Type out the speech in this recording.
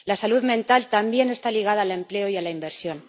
La salud mental también está ligada al empleo y a la inversión.